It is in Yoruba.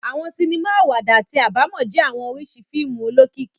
Awọn sinima awada ati abamọ jẹ awọn oriṣi fiimu olokiki